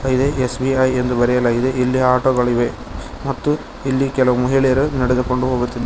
ಇದೆ S B I ಎಂದು ಬರೆಯಲಾಗಿದೆ ಇಲ್ಲಿ ಆಟೋ ಗಳಿವೆ ಮತ್ತು ಇಲ್ಲಿ ಕೆಲವು ಮಹಿಳೆಯರು ನಡೆದುಕೊಂಡು ಹೋಗುತ್ತಿದ--